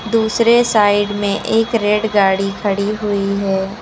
दूसरे साइड में एक रेड गाड़ी खड़ी हुई है।